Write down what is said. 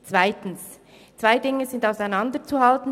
Zweitens: Zwei Dinge sind auseinanderzuhalten.